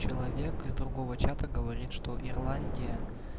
человек из другого чата говорит что ирландия